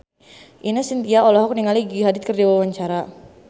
Ine Shintya olohok ningali Gigi Hadid keur diwawancara